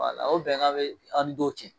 O bɛnka be an ni dɔw cɛ.